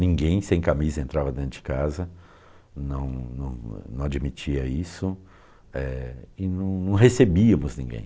Ninguém sem camisa entrava dentro de casa, não não não admitia isso eh e não não recebíamos ninguém.